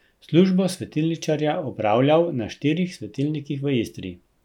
Službo svetilničarja opravljal na štirih svetilnikih v Istri.